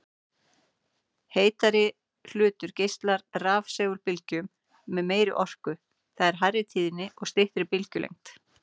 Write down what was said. Heitari hlutur geislar rafsegulbylgjum með meiri orku, það er hærri tíðni og styttri bylgjulengd.